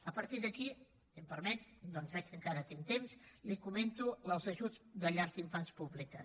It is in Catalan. a partir d’aquí si m’ho permet ja que veig que encara tinc temps li comento els ajuts de llars d’infants públiques